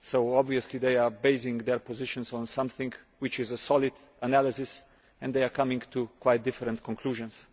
obviously they are basing their positions on something which is a solid analysis and they are coming to quite different conclusions.